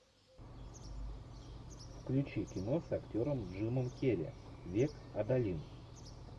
включи кино с актером джимом керри век адалин